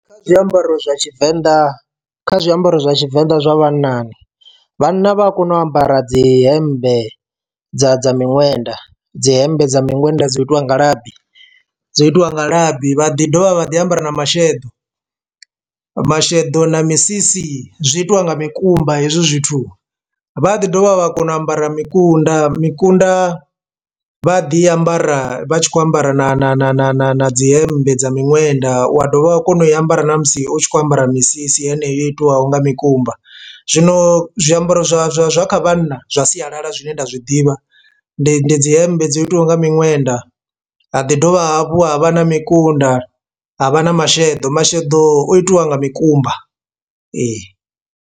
Kha zwiambaro zwa tshivenḓa kha zwiambaro zwa tshivenḓa zwa vhatshinnani, vhanna vha a kona u ambara dzi hembe dza dza miṅwenda dzi hembe dza miṅwenda dzo itiwa nga labi dzo itiwa labi vha ḓi dovha vha ḓi ambara na masheḓo. Masheḓo na misisi zwi itiwa nga mikumba hezwi zwithu, vha ḓi dovha vha kona u ambara makunda makunda vha ḓi ambara vha tshi kho ambara na na na na na na dzi hemmbe dza miṅwenda wa dovha wa kona u i ambara na musi u tshi kho ambara misisi heneyo yo itiwa nga mikumba. Zwino zwiambaro zwa zwa zwa kha vhanna zwa sialala zwine nda zwiḓivha ndi ndi dzi hembe dzo itiwa nga miṅwenda, ha ḓi dovha hafhu ha vha na makunda ha vha na masheḓo, masheḓo o itiwa nga mikumba ee.